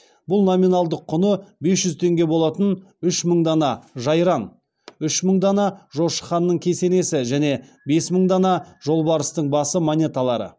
бұл номиналдық құны бес жүз теңге болатын үш мың дана жайран үш мың дана жошы ханның кесенесі және бес мың дана жолбарыстың басы монеталары